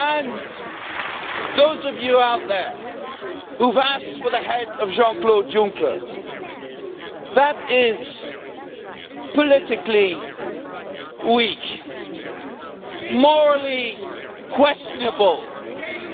As for those of you out there who have asked for the head of Jean Claude Juncker that is politically weak, morally questionable,